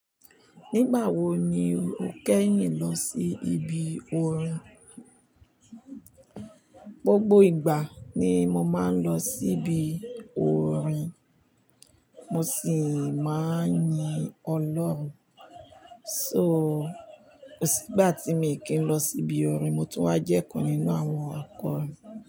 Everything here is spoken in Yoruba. Nígbà wo ni o kẹ́yìn lọ sí ibi orin? Gbogbo ìgbà ni mo máa ń lọ síbi orin mo sì máa ń yin Ọlọ́run. So, kò sí ìgbà tí mi kì í lọ síbi orin mo tún wà jẹ́ kan nínú àwọn akọrin.